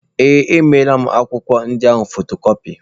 Ee, emeela m akwụkwọ ndị ahụ fotokọpi.